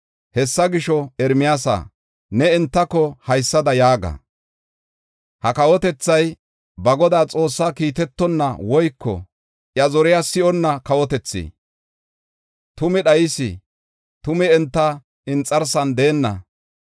Hessa gisho, Ermiyaasa, ne entako haysada yaaga: ha kawotethay ba Godaa Xoossaa kiitetonna woyko iya zoriya si7onna kawotethi. Tumi dhayis; tumi enta inxarsan deenna.